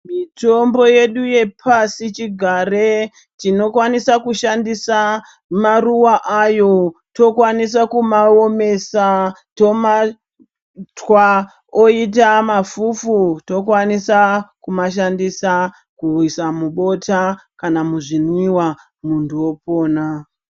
Mitombo yedu yepasi chigare tinokwanisa kushandisa maruwa ayo tokwanisa kuomesa tomatwa oita mafufu tokwanisa kumashandisa kuisa mubota kana muzvimwiwa muntu opona.